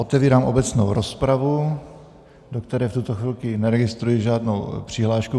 Otevírám obecnou rozpravu, do které v tuto chvíli neregistruji žádnou přihlášku.